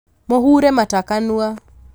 mũhure mata kanua